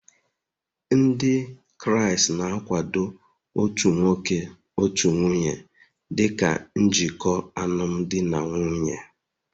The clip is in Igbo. Ndị Kraịst na-akwado otu nwoke otu nwunye dị ka njikọ n'alụmdi na nwunye